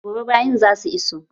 Gobe bayin za su iso